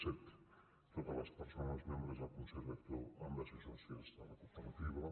deu totes les persones membres del consell rector han de ser sòcies de la cooperativa